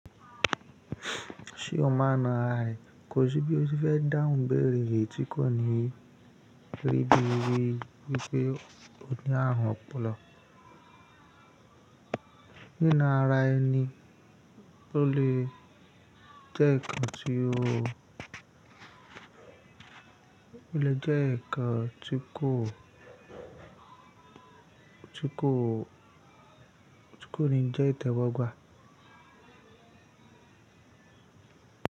Ṣé o mọ̀ ná ra e kò sí bí ó ti fẹ́ dáhùn béèrè èyí tí kò ní rí bí i wípé oní ààrun ọpọlọ. Níná ara ẹni ló lè jẹ́ ǹkan tí ó lè jẹ́ ǹkan tí kò, tí kò, tí kò ní jẹ́ ìtẹ́wọ gba à.